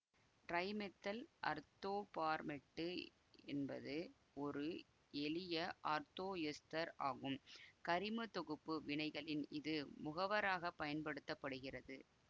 trimethyl அர்த்தோபார்மேட்டு என்பது ஒரு எளிய அர்த்தோ எசுத்தர் ஆகும் கரிம தொகுப்பு வினைகளில் இது முகவராக பயன்படுத்த படுகிறது